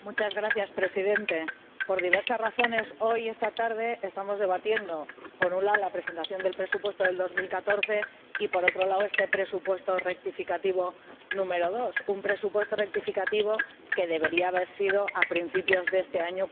Señor Presidente, por diversas razones, hoy, esta tarde, estamos debatiendo, por un lado, la presentación del presupuesto de 2014 y, por otro lado, este presupuesto rectificativo número 2 un presupuesto rectificativo que debería haber sido debatido a principios de este año,